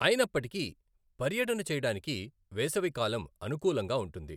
అయినప్పటికీ పర్యటన చేయడానికి వేసవి కాలం అనుకూలంగా ఉంటుంది.